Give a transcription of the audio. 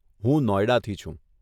હું નોઇડાથી છું.